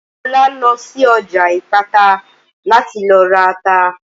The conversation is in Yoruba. Olá lọ sí ọjà Ìpátá láti lọ ra ata